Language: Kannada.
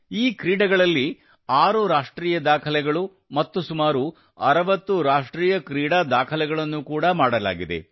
ಈ ಕ್ರೀಡೆಗಳಲ್ಲಿ ಆರು ರಾಷ್ಟ್ರೀಯ ದಾಖಲೆಗಳು ಮತ್ತು ಸುಮಾರು 60 ರಾಷ್ಟ್ರೀಯ ಕ್ರೀಡಾ ದಾಖಲೆಗಳನ್ನು ಕೂಡಾ ಮಾಡಲಾಗಿದೆ